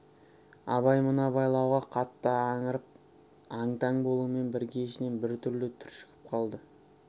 абай мына байлауға қатты аңырып аң-таң болумен бірге ішінен біртүрлі түршігіп қалды